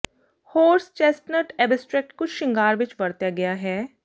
horse chestnut extract ਕੁਝ ਸ਼ਿੰਗਾਰ ਵਿੱਚ ਵਰਤਿਆ ਗਿਆ ਹੈ